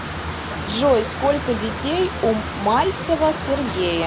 джой сколько детей у мальцева сергея